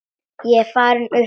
Ég er farinn upp úr.